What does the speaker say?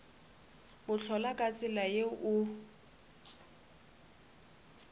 bohlola ka tsela ye o